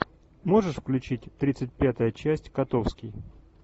можешь включить тридцать пятая часть котовский